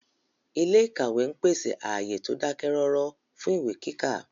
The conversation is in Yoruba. Ilé ìkàwé ń pèsè ààyè tó dákẹ́ rọ́rọ́ fún ìwé kíkà